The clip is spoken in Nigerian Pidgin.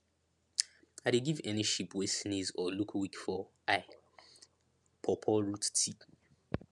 i dey give any sheep wey sneeze or look weak for eye pawpaw root tea